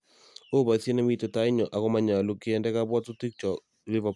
Oo boisiet nemitei tainyo ago manyolu kende kabwatutikyo Liverpool